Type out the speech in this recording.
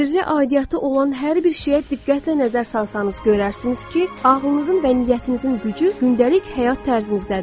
Sirrə aidiyyatı olan hər bir şeyə diqqətlə nəzər salsanız görərsiniz ki, ağlınızın və niyyətinizin gücü gündəlik həyat tərzinizdədir.